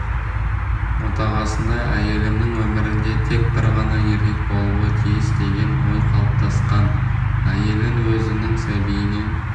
отағасында әйелімнің өмірінде тек бір ғана еркек болуы тиіс деген ой қалыптасқан әйелін өзінің сәбиінен